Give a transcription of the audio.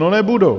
No nebudou.